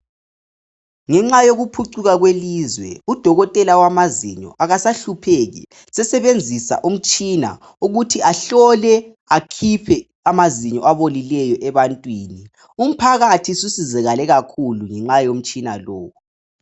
Ngenxa yokuphucuka kwelizwe, udokotela wamazinyo akasahlupheki sesebenzisa umtshina ukuthi ahlole akhiphe amazinyo abolileyo ebantwini. Umphakathi ususizakale kakhulu ngomtshina lowu.